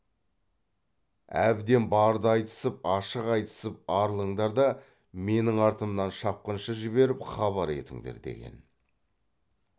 әбден барды айтысып ашық айтысып арылыңдар да менің артымнан шапқыншы жіберіп хабар етіңдер деген